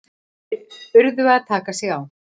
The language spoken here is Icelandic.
Þeir urðu að taka sig á!